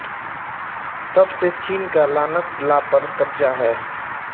तब से चीन का लानक ला पर क़ब्ज़ा है